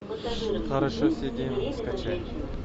хорошо сидим скачай